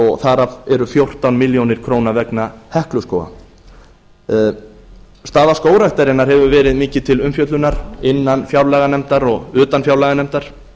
og þar af eru fjórtán ár vegna hekluskóga staða skógræktarinnar hefur verið mikið til umfjöllunar innan fjárlaganefndar og utan fjárlaganefndar